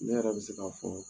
Ne yɛrɛ bɛ se k'a fɔ